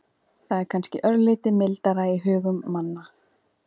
Það er kannski örlítið mildara í hugum manna.